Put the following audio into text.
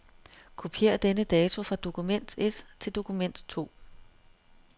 Kopier denne dato fra dokument et til dokument to.